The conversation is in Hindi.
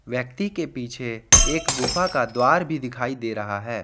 व्यक्ति के पीछे एक गुफा का द्वार भी दिखाई दे रहा है।